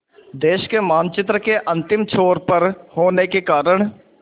देश के मानचित्र के अंतिम छोर पर होने के कारण